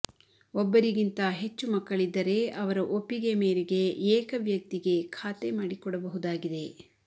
ಒಬ್ಬರಿಗಿಂತ ಹೆಚ್ಚು ಮಕ್ಕಳಿದ್ದರೆ ಅವರ ಒಪ್ಪಿಗೆ ಮೇರೆಗೆ ಏಕವ್ಯಕ್ತಿಗೆ ಖಾತೆ ಮಾಡಿಕೊಡಬಹುದಾಗಿದೆ